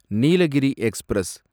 Nilgiri express